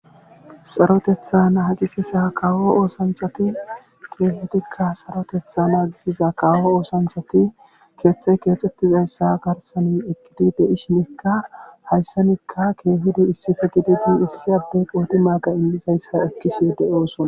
Sarotheta naagisiza kawo oosanchati keehizikka saroteta naagissiza kawo oosanchati keethey keexetidayssa garssen eqqidi de7ishinkka haysanikka keehidi issipe gidi issi adey qodimaga immizayse ekishe de7oosona.